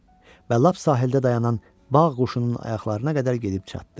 Və lap sahildə dayanan bağ quşunun ayaqlarına qədər gedib çatdı.